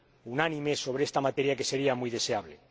unánime sobre esta materia, lo que sería muy deseable.